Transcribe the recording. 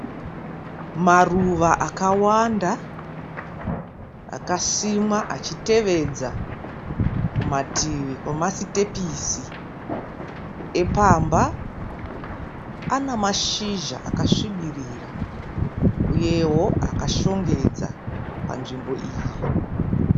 Maruva akawanda akasimwa achitevedza kumativi kwemasitepisi epamba. Pane mashizha akasvibira uyewo akashongedza panzvimbo iyi.